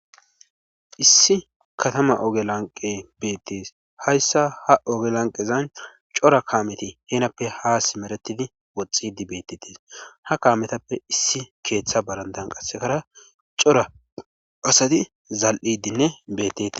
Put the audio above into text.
Issi katama oge lanqe beettees hayssa ha oge lanqezan cora kaameti heenappe haa simeretidi woxxidi beettetes ha kaametappe issi keeththa barandan qasekara cora asadi zal7idinne beetteti